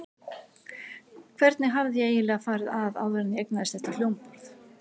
Hvernig hafði ég eiginlega farið að áður en ég eignaðist þetta hljómborð?